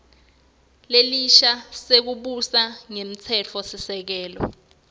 lesisha sekubusa ngemtsetfosisekelo